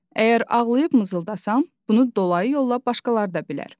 Əgər ağlayıb mızıldasam, bunu dolayı yolla başqalar da bilər.